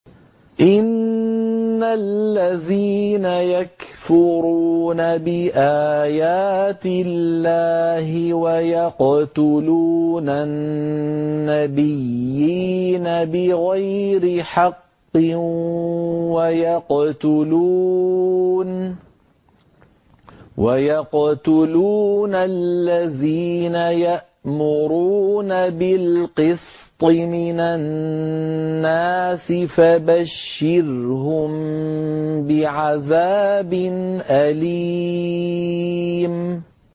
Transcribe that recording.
إِنَّ الَّذِينَ يَكْفُرُونَ بِآيَاتِ اللَّهِ وَيَقْتُلُونَ النَّبِيِّينَ بِغَيْرِ حَقٍّ وَيَقْتُلُونَ الَّذِينَ يَأْمُرُونَ بِالْقِسْطِ مِنَ النَّاسِ فَبَشِّرْهُم بِعَذَابٍ أَلِيمٍ